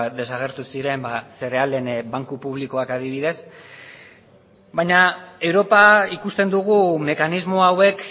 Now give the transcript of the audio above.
desagertu ziren zerealen banku publikoak adibidez baina europa ikusten dugu mekanismo hauek